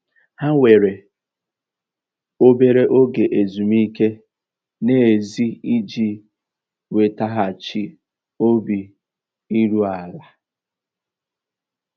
Há wèrè óbérè óge ézúmíkè n'èzí íjì nwètaghachị́ óbì írú àlà.